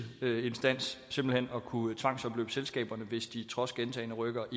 instans simpelt hen at kunne tvangsopløse selskaberne hvis de trods gentagne rykkere